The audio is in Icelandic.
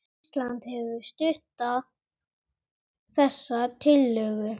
Ísland hefur stutt þessa tillögu